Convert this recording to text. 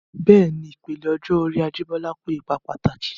Bẹ́ẹ̀ni, ìpele ọjọ́ orí Ajibola kó ipa pàtàkì.